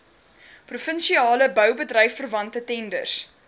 provinsiale boubedryfverwante tenders